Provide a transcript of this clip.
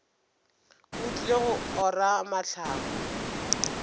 o tlile go ora mahlaku